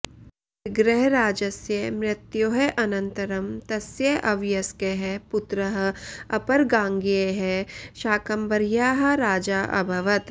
विग्रहराजस्य मृत्योः अनन्तरं तस्य अवयस्कः पुत्रः अपरगाङ्गेयः शाकम्भर्याः राजा अभवत्